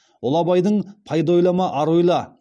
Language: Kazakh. ұлы абайдың пайда ойлама ар ойла